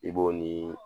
I b'o nii